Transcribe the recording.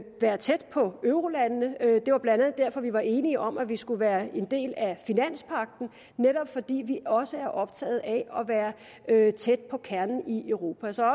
være tæt på eurolandene det var blandt andet derfor vi var enige om at vi skulle være en del af finanspagten netop fordi vi også er optaget af at være tæt på kernen i europa så